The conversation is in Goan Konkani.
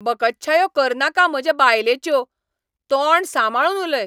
बकच्छायो करनाका म्हजे बायलेच्यो! तोंड सांबाळून उलय!